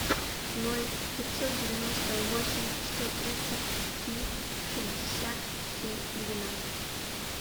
ноль пятьсот девяносто восемь сто тридцать три шестьдесят три двенадцать